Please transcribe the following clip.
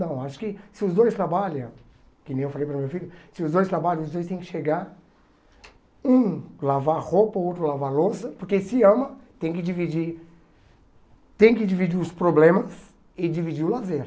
Não, acho que se os dois trabalham, que nem eu falei para o meu filho, se os dois trabalham, os dois têm que chegar, um, lavar roupa, o outro, lavar louça, porque se ama, tem que dividir, tem que dividir os problemas e dividir o lazer.